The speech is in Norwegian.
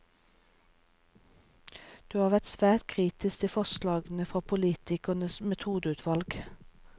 Du har vært sterkt kritisk til forslagene fra politiets metodeutvalg.